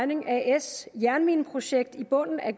mining as jernmineprojekt i bunden af